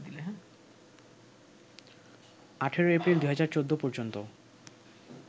১৮ April ২০১৪ পর্যন্ত